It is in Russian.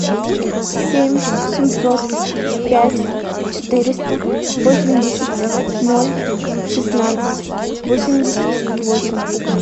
семь семьсот пять четыреста восемьдесят ноль шестнадцать восемьдесят восемь